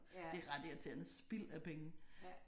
Det er ret irriterende spild af penge